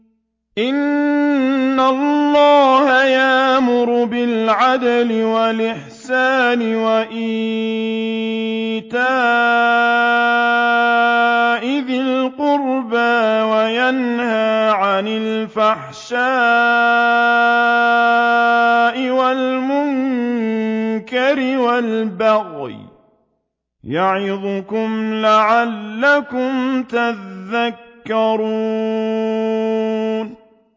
۞ إِنَّ اللَّهَ يَأْمُرُ بِالْعَدْلِ وَالْإِحْسَانِ وَإِيتَاءِ ذِي الْقُرْبَىٰ وَيَنْهَىٰ عَنِ الْفَحْشَاءِ وَالْمُنكَرِ وَالْبَغْيِ ۚ يَعِظُكُمْ لَعَلَّكُمْ تَذَكَّرُونَ